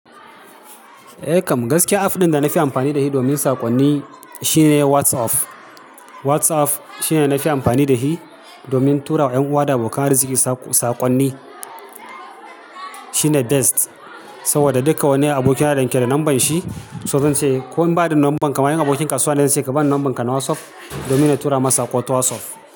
Eh kam, gaskiya app ɗin da na fi amfani da shi domin sakonni shine WhatsApp. WhatsApp shine na fi amfani da hi domin tura wa ƴan uwa da abokan arziki sakonni. Shine best, saboda duka wanda aboki na danke da lambar shi, suna cewa "ko in ba ni da lambar ka ma ƴan abokin kasuwa ne zance ka bani lamban ka na WhatsApp domin na tura ma saƙo ta WhatsApp."